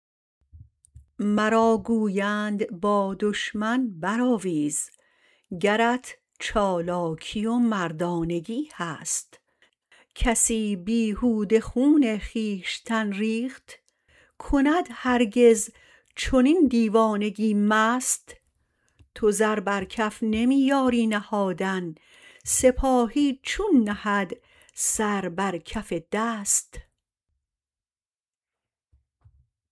مرا گویند با دشمن برآویز گرت چالاکی و مردانگی هست کسی بیهوده خون خویشتن ریخت کند هرگز چنین دیوانگی مست تو زر بر کف نمی یاری نهادن سپاهی چون نهد سر بر کف دست